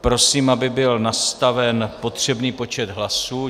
Prosím, aby byl nastaven potřebný počet hlasů.